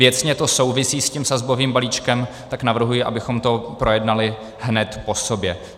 Věcně to souvisí s tím sazbovým balíčkem, tak navrhuji, abychom to projednali hned po sobě.